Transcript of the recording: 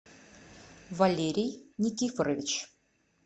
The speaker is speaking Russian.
валерий никифорович